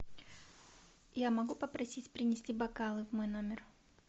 я могу попросить принести бокалы в мой номер